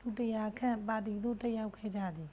လူ 100 ခန့် ပါတီသို့ တက်ရောက်ခဲ့ကြသည်